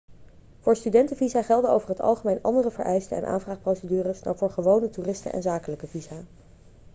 voor studentenvisa gelden over het algemeen andere vereisten en aanvraagprocedures dan voor gewone toeristen en zakelijke visa